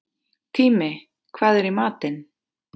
Tími, hvað er í matinn?